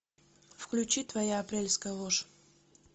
включи твоя апрельская ложь